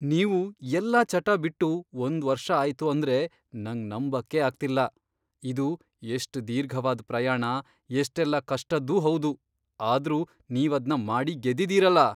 ನೀವು ಎಲ್ಲ ಚಟ ಬಿಟ್ಟು ಒಂದ್ ವರ್ಷ ಆಯ್ತು ಅಂದ್ರೆ ನಂಗ್ ನಂಬಕ್ಕೇ ಆಗ್ತಿಲ್ಲ! ಇದು ಎಷ್ಟ್ ದೀರ್ಘವಾದ್ ಪ್ರಯಾಣ, ಎಷ್ಟೆಲ್ಲ ಕಷ್ಟದ್ದೂ ಹೌದು.. ಆದ್ರೂ ನೀವದ್ನ ಮಾಡಿ ಗೆದ್ದಿದೀರಲ!